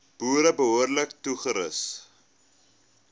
boere behoorlik toerus